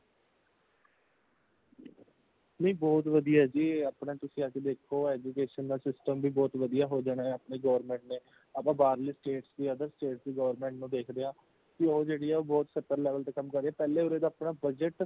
ਨਈਂ ਬਹੁਤ ਵਧੀਆ ਜੀ , ਅਪਣਾ ਤੁਸੀਂ ਅੱਜ ਦੇਖੋ education ਦਾ system ਬਹੁਤ ਵਧੀਆ ਹੋ ਜਾਣਾ ਹੈ ਅਪਣੇ government ਨੇਂ ,ਆਪਾਂ ਬਾਹਰਲੀ state ਦੀ other state ਦੀ government ਨੂੰ ਦਏਖਦੇ ਹਾਂ ਕਿ ਉਹ ਜੇੜ੍ਹੀ ਆ ਉਹ ਬਹੁਤ ਸਤਰਕ level ਤੇ ਕੰਮ ਕਰ ਰਹੀਂ ਹੈ |ਪਹਲੇ ਉਰੇ ਦਾ ਅਪਣਾ budget